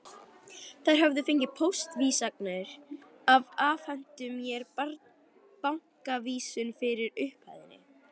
Þær höfðu fengið póstávísanirnar og afhentu mér bankaávísun fyrir upphæðinni.